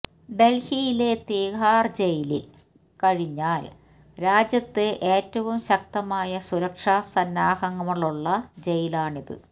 ഡല്ഹിയില തിഹാര് ജയില് കഴിഞ്ഞാല് രാജ്യത്ത് ഏറ്റവും ശക്തമായ സുരക്ഷാസന്നാഹങ്ങളുള്ള ജയിലാണിത്